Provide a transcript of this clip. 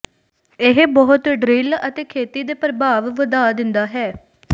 ਇਹ ਬਹੁਤ ਡਰਿਲ ਅਤੇ ਖੇਤੀ ਦੇ ਪ੍ਰਭਾਵ ਵਧਾ ਦਿੰਦਾ ਹੈ